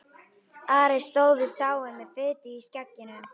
Ari stóð við sáinn með fitu í skegginu.